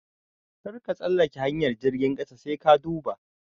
Karka tsallake hanyar jirgin ƙasa sai ka duba.